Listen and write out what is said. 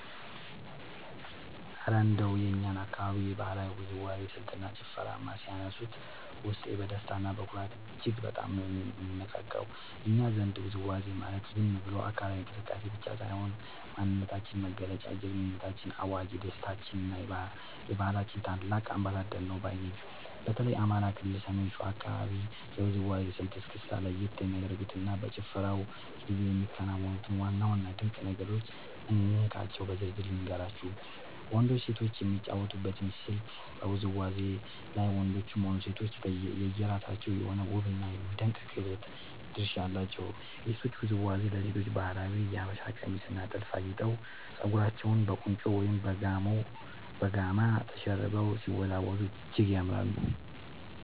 እረ እንደው የእኛን አካባቢ የባህላዊ ውዝዋዜ ስልትና ጭፈርማ ሲያነሱት፣ ውስጤ በደስታና በኩራት እጅግ በጣም ነው የሚነቃቃው! እኛ ዘንድ ውዝዋዜ ማለት ዝም ብሎ አካላዊ እንቅስቃሴ ብቻ ሳይሆን፣ የማንነታችን መገለጫ፣ የጀግንነታችን አዋጅ፣ የደስታችንና የባህላችን ታላቅ አምባሳደር ነው ባይ ነኝ። በተለይ የአማራ ክልል የሰሜን ሸዋ አካባቢን የውዝዋዜ ስልት (እስክስታ) ለየት የሚያደርጉትንና በጭፈራው ጊዜ የሚከናወኑትን ዋና ዋና ድንቅ ነገሮች እንካችሁ በዝርዝር ልንገራችሁ፦ . ወንዶችና ሴቶች የሚጫወቱበት ስልት በውዝዋዜው ላይ ወንዶችም ሆኑ ሴቶች የየራሳቸው የሆነ ውብና የሚደነቅ የክህሎት ድርሻ አላቸው። የሴቶቹ ውዝዋዜ፦ ሴቶቻችን በባህላዊው የሀበሻ ቀሚስና ጥልፍ አጊጠው፣ ፀጉራቸውን በቁንጮ ወይም በጋማ ተሸርበው ሲወዝወዙ እጅግ ያምራሉ።